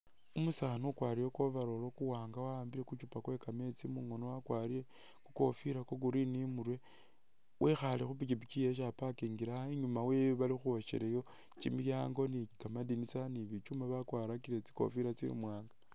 Umusaani ukwalire ku overall kuwaanga wawambile ku chuupa kwe kameetsi mungoono wakwalire ku kofila kwa green imurwe, wekhaale khupikipiki yewe isi a'parkingile awo inyuma wewe bali khukhwoshelayo kimilyango ni kamadinisa ni bichuma bakwalakire tsikofila tsimwaanga